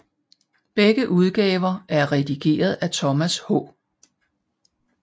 Begge udgaver er redigeret af Thomas H